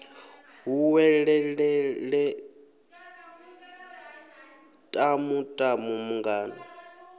hu welelele tamu tamu mungana